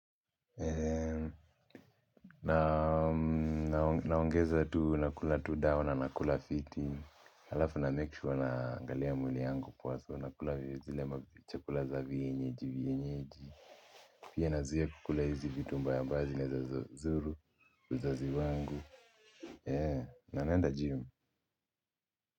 Naam naongeza tu nakula tu dawa na nakula fiti halafu na makesure naangalia mwili yangu kwanza nakula zile chakula za vienyeji vienyeji pia nazuia kukula hizi vitu mbaya mbaya zinaweza zuru uzazi wangu ee na naenda gym.